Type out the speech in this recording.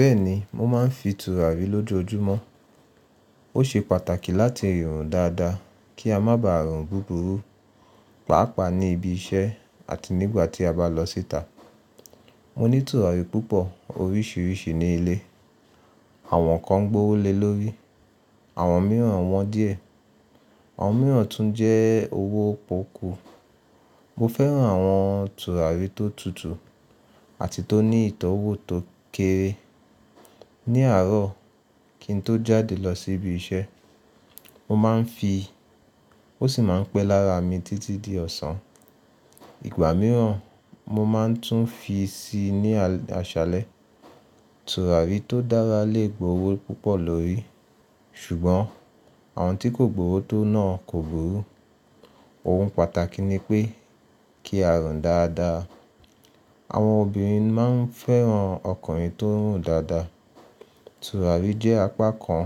Bẹ́ẹ̀ni, mo máa ń fi tùràrí lójoojúmọ́. Ó ṣe pàtàkì láti rùn dáadáa kí a má ba à rùn búburú, pàápàá ní ibi iṣẹ́ àti nígbà tí a bá lọ síta. Mo ní tùràrí púpọ̀ oríṣiríṣi ní ilé. Àwọn kan gbówó lé lórí, àwọn mìíràn wọ́n díẹ̀, àwọn mìíràn tún jẹ́ owó pọ́kú. Mo fẹ́ran àwọn tùràrí tó tutù àti tó ní ìtọ́wò tó kéré. Ni àárọ̀ kín tó jáde lọ sí ibi iṣẹ́, mo máa ń fi, ó sì máa ń pẹ́ lára mi títí di ọ̀sán. Ìgbà mìíràn mo máa tún fi síi ní aṣálẹ́. Tùràrí tó dára lè gbowó púpọ̀ lórí. Ṣùgbọ́n àwọn tí kò gbowó tó náà kòburú. Ohun pàtàkì ni pé kí a rùn dáadáa. Àwọn obìnrin máa ń fẹ́ran ọkùnrin tó ń rùn dáadáa. Tùràrí jẹ́ apá kan